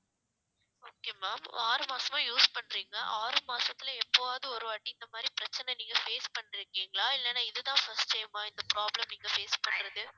okay ma'am ஆறு மாசமா use பண்ரீங்களா ஆறு மாசத்துல எப்பவாது ஒரு வாட்டி இந்த மாதிரி பிரச்சனை நீங்க face பண்ணிருக்கீங்களா இல்லனா இதுதா first time ஆ இந்த problem நீங்க face பன்றது